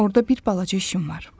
Orda bir balaca işim var.